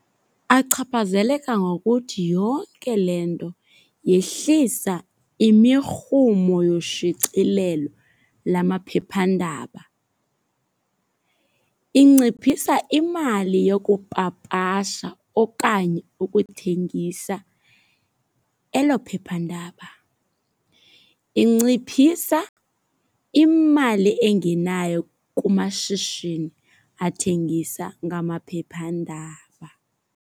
Achaphazeleka ngokuthi yonke le nto yehlisa imirhumo yoshicilelo lamaphephandaba. Inciphisa imali yokupapasha okanye ukuthengisa elo phephandaba. Inciphisa imali engenayo kumashishini athengisa ngamaphephandaba.